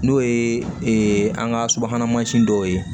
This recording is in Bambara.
N'o ye an ka subahana mansin dɔw ye